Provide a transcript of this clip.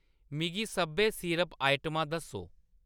मिगी सब्भै सिरप आइटमां दस्सो